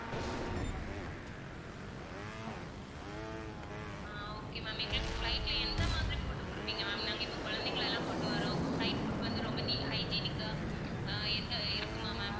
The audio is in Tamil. அஹ் okay ma'am எங்களுக்கு flight ல எந்த மாதிரி food கொடுப்பீங்க ma'am நாங்க இப்போ குழந்தைங்களை எல்லாம் கொண்டு வர்றோம் உங்க flight food லாம் வந்து ரொம்ப neat hygienic ஆ ஆஹ் எந்த இருக்குமா ma'am